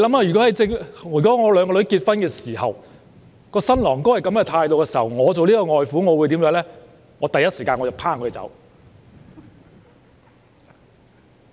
如果我的兩個女兒在結婚時，她們的新郎持有這種態度，我作為外父會第一時間趕他們走。